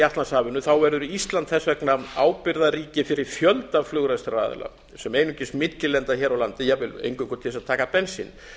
atlantshafinu er ísland þess vegna ábyrgðarríki fyrir fjölda flugrekstraraðila sem einungis millilenda hér á landi jafnvel einungis til að taka bensín